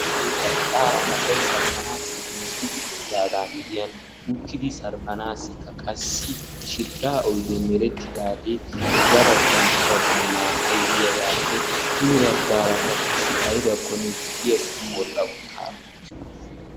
Gaaye ba eqqara asay sarbbanassi giigidi uttidaaga miyyiyaan uttidi sarbbanassikka qassi shidhdha oydde meretidaage yabaggan habaggan na"ay diyaagaeppe hini baggara qassi aybbakko na"iya sa'an wodhdha uttaasu.